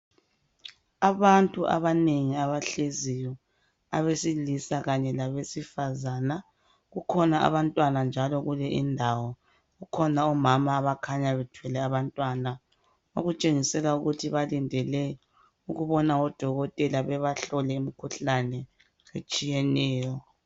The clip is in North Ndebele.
Abantu abanengi abahleziyo abesilisa labe sifazana kukhona njalo abantwana kuleyindawo kukhona omama abakhanya bethwele abantwana kukhona omama abakhanya bethwele abantwana okutshengisela ukuthi balindele ukubona odokotela behlole imkhuhlane etshiyeneyo